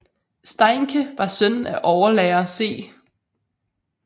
Steincke var søn af overlærer C